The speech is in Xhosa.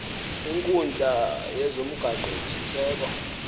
kwinkundla yezomgaqo siseko